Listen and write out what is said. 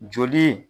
Joli